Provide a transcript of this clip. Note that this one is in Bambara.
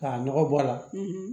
K'a nɔgɔ bɔ a la